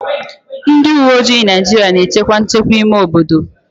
Ndị uweojii Naịjirịa na-echekwa nchekwa ime obodo